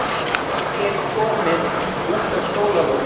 Þau eru komin út á skólalóð.